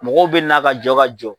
Mɔgɔw bɛ na ka jɔ ka jɔ.